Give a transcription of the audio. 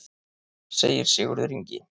Segir Sigurður Ingi.